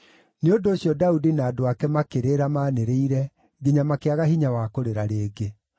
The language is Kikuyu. Nĩ ũndũ ũcio Daudi na andũ ake makĩrĩra maanĩrĩire nginya makĩaga hinya wa kũrĩra rĩngĩ.